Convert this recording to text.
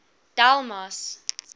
delmas